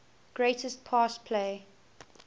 greatest pass play